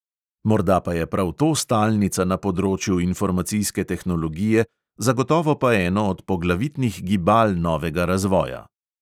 Morda pa je prav to stalnica na področju informacijske tehnologije, zagotovo pa eno od poglavitnih gibal novega razvoja.